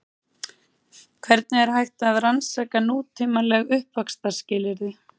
Hvernig er hægt að rannsaka nútímaleg uppvaxtarskilyrði?